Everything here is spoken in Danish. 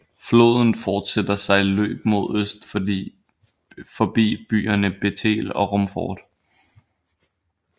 Floden fortsætter sit løb mod øst forbi byerne Bethel og Rumford